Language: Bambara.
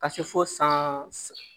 Ka se fo san